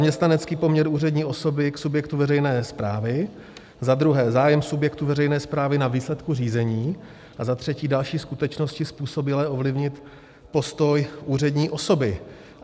Zaměstnanecký poměr úřední osoby k subjektu veřejné správy, za druhé zájem subjektu veřejné správy na výsledku řízení a za třetí další skutečnosti způsobilé ovlivnit postoj úřední osoby.